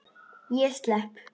Ég slepp.